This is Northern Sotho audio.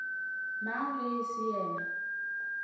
mang ge e se yena